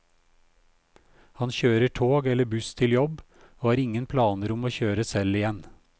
Han kjører tog eller buss til jobb, og har ingen planer om å kjøre selv igjen.